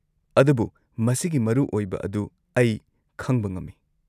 -ꯑꯗꯨꯕꯨ ꯃꯁꯤꯒꯤ ꯃꯔꯨꯑꯣꯏꯕ ꯑꯗꯨ ꯑꯩ ꯈꯪꯕ ꯉꯝꯃꯤ ꯫